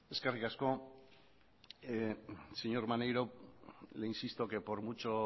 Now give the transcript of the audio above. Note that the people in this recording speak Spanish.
eskerrik asko señor maneiro le insisto que por mucho